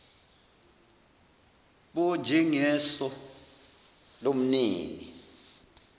npo njengeso lomnini